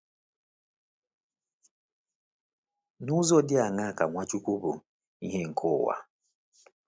N’ụzọ dị aṅaa ka Nwachukwu bụ “ìhè nke ụwa”?